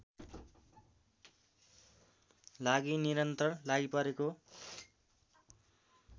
लागि निरन्तर लागिपरेको